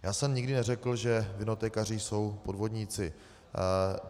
Já jsem nikdy neřekl, že vinotékaři jsou podvodníci.